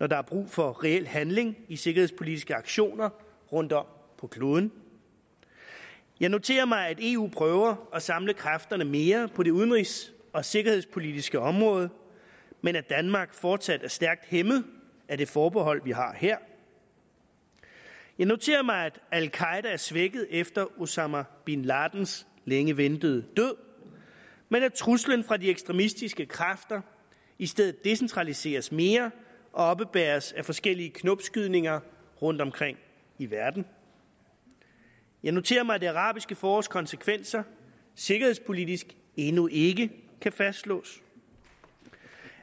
når der er brug for reel handling i sikkerhedspolitiske aktioner rundtom på kloden jeg noterer mig at eu prøver at samle kræfterne mere på det udenrigs og sikkerhedspolitiske område men at danmark fortsat er stærkt hæmmet af det forbehold vi har her jeg noterer mig at al qaeda er svækket efter osama bin ladens længe ventede død men at truslen fra de ekstremistiske kræfter i stedet decentraliseres mere og oppebæres af forskellige knopskydninger rundtomkring i verden jeg noterer mig at det arabiske forårs konsekvenser sikkerhedspolitisk endnu ikke kan fastslås